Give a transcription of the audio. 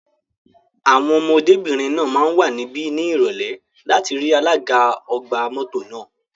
Àwọn ọmọdébìnrin náà máa wà níbí ní Ìrọ̀lẹ́ láti rí alága ọgbà mọ́tò náà.